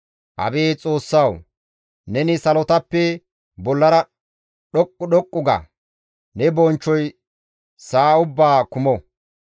Abeet Xoossawu! Neni salotappe bollara dhoqqu dhoqqu ga; ne bonchchoy sa7a ubbaa kumo.